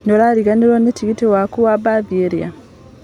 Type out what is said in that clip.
Nĩũrariganĩirwo nĩ tigiti waku wa mbathi ira?